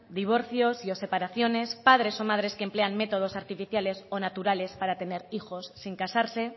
divorcios y o separaciones padres o madres que emplean métodos artificiales o naturales para tener hijos sin casarse